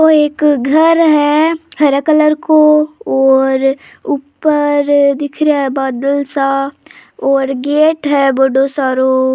एक घर है हरा कलर को और ऊपर दिख रेहा है बादल सा और गेट है बड़ो सारो।